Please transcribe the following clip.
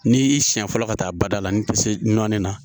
N'i y'i siɲɛ fɔlɔ ka taa bada la ni tɛ se nɔni na